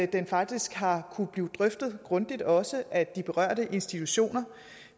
den faktisk har kunnet blive drøftet grundigt også af de berørte institutioner